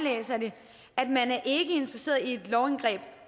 interesseret i et lovindgreb